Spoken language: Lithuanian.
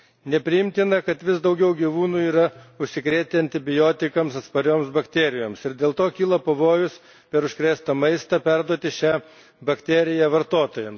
Nepriimtina, kad vis daugiau gyvūnų yra užsikrėtę antibiotikams atspariomis bakterijomis ir dėl to kyla pavojus, kad per užkrėstą maistą jie gali perduoti šią bakteriją vartotojams.